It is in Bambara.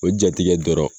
O jatigɛ dɔrɔn